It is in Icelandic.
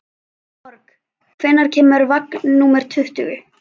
Borg, hvenær kemur vagn númer tuttugu?